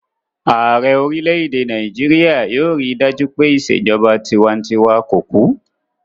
Ààrẹ orílẹ̀-èdè Nàìjíríyà yóò rí dájú pé ìṣèjọba tinwatinwa kò kú